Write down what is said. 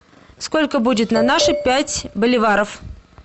сколько будет на наши пять боливаров